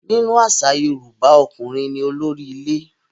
Nínú àṣà Yorùbá, ọkùnrin ní olórí ilé.